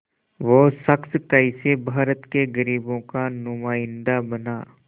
वो शख़्स कैसे भारत के ग़रीबों का नुमाइंदा बना